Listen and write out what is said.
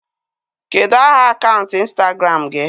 Kedụ aha akaụntụ ịnstagram gị?